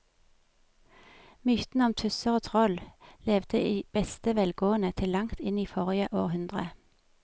Mytene om tusser og troll levde i beste velgående til langt inn i forrige århundre.